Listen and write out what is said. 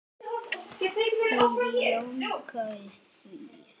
Hún jánkar því.